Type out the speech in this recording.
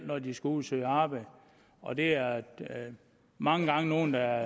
når de skal ud at søge arbejde og det er mange gange nogle der